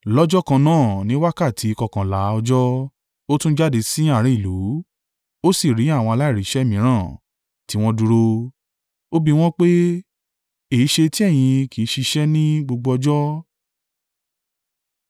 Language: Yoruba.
Lọ́jọ́ kan náà ní wákàtí kọkànlá ọjọ́, ó tún jáde sí àárín ìlú, ó sì rí àwọn aláìríṣẹ́ mìíràn tí wọ́n dúró. Ó bi wọ́n pé, ‘Èéṣe tí ẹ̀yin kì í ṣiṣẹ́ ní gbogbo ọjọ́?’